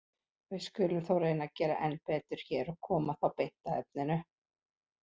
Við skulum þó reyna að gera enn betur hér og koma þá beint að efninu.